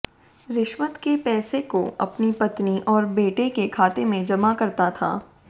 रिश्वत के पैसे को अपनी पत्नी और बेटी के खाते में जमा करता था